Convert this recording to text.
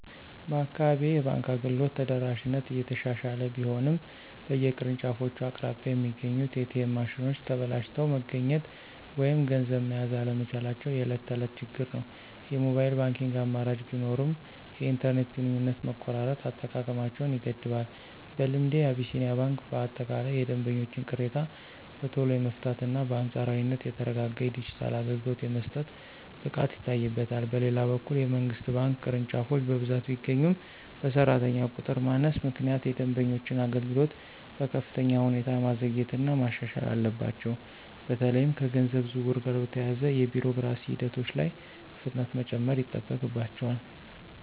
በአካባቢዬ የባንክ አገልግሎት ተደራሽነት እየተሻሻለ ቢሆንም፣ በየቅርንጫፎቹ አቅራቢያ የሚገኙት ኤ.ቲ.ኤም ማሽኖች ተበላሽተው መገኘት ወይም ገንዘብ መያዝ አለመቻላቸው የዕለት ተዕለት ችግር ነው። የሞባይል ባንኪንግ አማራጮች ቢኖሩም፣ የኢንተርኔት ግንኙነት መቆራረጥ አጠቃቀማቸውን ይገድባል። በልምዴ፣ አቢሲኒያ ባንክ በአጠቃላይ የደንበኞችን ቅሬታ በቶሎ የመፍታትና በአንጻራዊነት የተረጋጋ የዲጂታል አገልግሎት የመስጠት ብቃት ይታይበታል። በሌላ በኩል፣ የመንግሥት ባንክ ቅርንጫፎች በብዛት ቢገኙም፣ በሠራተኛ ቁጥር ማነስ ምክንያት የደንበኞችን አገልግሎት በከፍተኛ ሁኔታ ማዘግየትና ማሻሻል አለባቸው። በተለይም ከገንዘብ ዝውውር ጋር በተያያዙ የቢሮክራሲ ሂደቶች ላይ ፍጥነት መጨመር ይጠበቅባቸዋል።